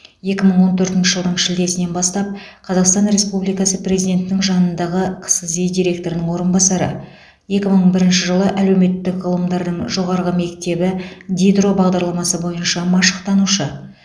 екі мың он төртінші жылдың шілдесінен бастап қазақстан республикасы президентінің жанындағы қсзи директорының орынбасары екі мың бірінші жылы әлеуметтік ғылымдардың жоғарғы мектебі дидро бағдарламасы бойынша машықтанушы